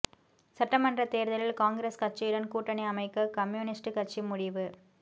சட்டமன்ற தேர்தலில் காங்கிரஸ் கட்சியுடன் கூட்டணி அமைக்க கம்யூனிஸ்டு கட்சி முடிவு